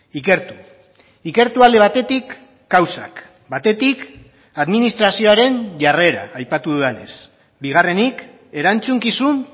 ikertu ikertu alde batetik kausak batetik administrazioaren jarrera aipatu dudanez bigarrenik erantzukizun